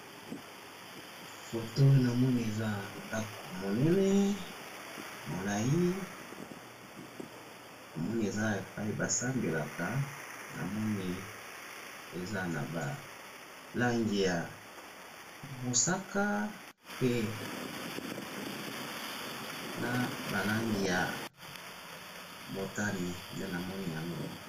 foto oyo namoni eza ndaku monene molayi namoni eza epayi ba sambelaka namoni eza naba langi ya mosaka pe naba langi ya motani nde namona yango.